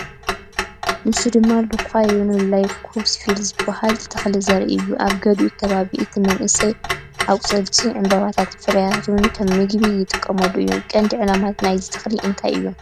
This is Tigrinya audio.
ንሱ ድማ ሉካየና ላይኮሴፋላ ዝበሃል ተኽሊ ዘርኢ እዩ። ኣብ ገሊኡ ኸባቢታት፡ እቲ መንእሰይ ኣቝጽልቱን ዕምባባታቱን ፍረታቱን እውን ከም መግቢ ይጥቀሙሉ እዮም። ቀንዲ ዕላማታት ናይዚ ተኽሊ እንታይ እዮም?